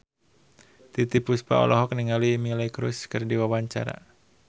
Titiek Puspa olohok ningali Miley Cyrus keur diwawancara